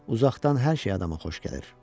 Uzaqdan hər şey adama xoş gəlir.”